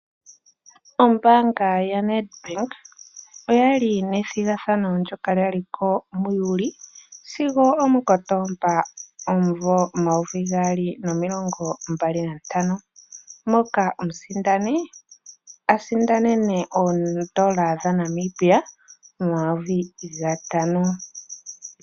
Ombaanga yaNedBank okwa li yina ethigathano ndyoka lya liko muJuli sigo omuKotomba omumvo omayovi gali nomilongo mbalinantano moka omusindani asindanene oodola dhaNamibia omayovi gatano.